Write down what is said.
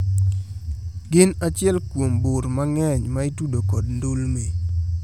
Gin achiel kuom bur mang`eny maitudo kod ndulme.